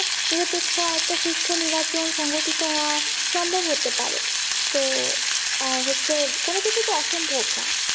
নিরপেক্ষ একটা সুস্থ নিবাচন সংঘঠিত হওয়া সম্ভব হতে পারে তো আহ হচ্ছে কোনো কিছু তো অসম্ভব না